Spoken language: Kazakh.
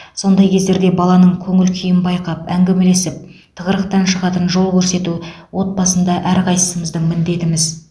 сондай кездерде баланың көңіл күйін байқап әңгімелесіп тығырықтан шығатын жол көрсету отбасында әрқайсымыздың міндетіміз